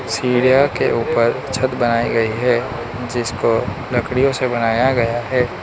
सीढ़ियों के ऊपर छत बनाई गई है जिसको लड़कियों से बनाया गया है।